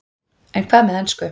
En hvað með ensku?